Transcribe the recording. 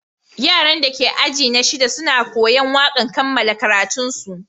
Yaran da ke ajina shida suna koya'n wakan kamalan karatun su.